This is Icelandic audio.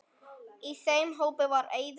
Í þeim hópi var Eiður.